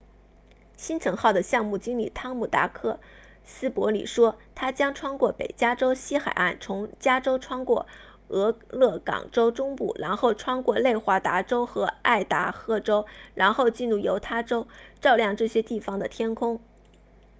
星尘号的项目经理汤姆达克斯伯里 tom duxbury 说它将穿过北加州西海岸从加州穿过俄勒冈州中部然后穿过内华达州和爱达荷州然后进入犹他州照亮这些地方的天空